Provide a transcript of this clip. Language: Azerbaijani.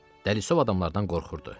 Dəlisov adamlardan qorxurdu.